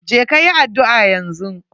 Je ka yi addu'a yanzu.